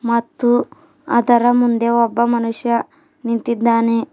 ಮತ್ತು ಅದರ ಮುಂದೆ ಒಬ್ಬ ಮನುಷ್ಯ ನಿಂತಿದ್ದಾನೆ.